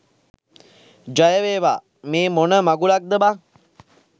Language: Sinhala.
ජයවේවා මේ මොන මගුලක්ද බන්.